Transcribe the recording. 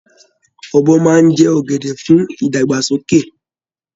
Ọbọ́ máa n jẹ ọgẹdẹ fún ìdàgbàsókè.